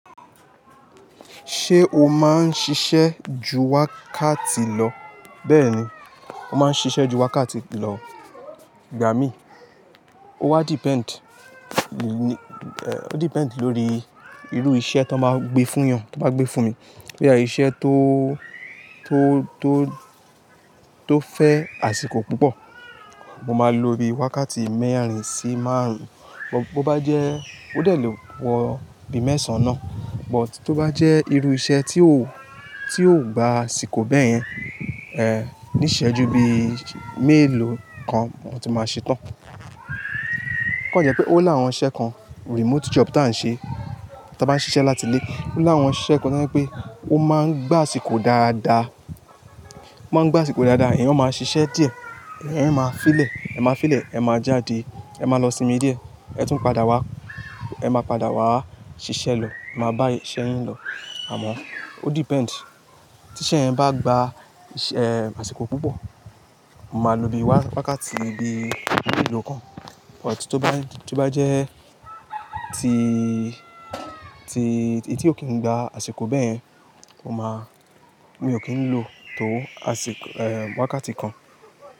Ṣé o máa ń ṣiṣẹ́ ju wákàtí lọ? Bẹ́ẹ̀ni, mo máa ń ṣiṣẹ́ ju wákàtí lọ, gbà mí. Ó wa depend, ó depend lórí irú iṣẹ́ tan máa gbé fún yan, tan bá gbé fún mi. Bóyá ṣe iṣẹ́ tó, tó, tó, tó fẹ́ àsìkò púpọ̀, mo máa lo bí i wákàtí mẹ́àrá sì márùn-ún. Bo bá jẹ́, ó dẹ̀ ló wọ bíi mẹ́sàn-án náà, but tó bá jẹ́ irú iṣẹ́ tí ó, tí ó gba àsìkò bẹ́ẹ̀ yẹn, eh, ní ìṣẹ́jú bíi mélòó kan mo ti máa ṣe tán. O kan jẹ́ pé ó làwọn iṣẹ́ kan, remote job tí a ń ṣe, tí a bá ń ṣiṣẹ́ láti ilé. O làwọn iṣẹ́ kan tan je pé ó máa ń gba àsìkò dáadáa, ó máa ń gba àsìkò dáadáa, eeyan máa ṣiṣẹ́ díẹ̀, eeyan máa fi ìlẹ̀, ẹ máa fi ìlẹ̀, ẹ máa jáde, ẹ máa lọ sinmi díẹ̀, ẹ tún padà wá, ẹ máa padà wá ṣiṣẹ́ lọ, ẹ máa bá iṣẹ́ yín lọ. Àmọ́ ó depend. Tiṣẹ́ ẹ bá gba, eh, àsìkò púpọ̀, mo máa lo bí i wákàtí bí i mélòó kan, but tó bá jẹ́ tí, tí èyí tí ò kí n gba àsìkò bẹ́ẹ̀ yẹn, mo máa, mi ò kí ń lo tó àsìk-- eh, wákàtí kan.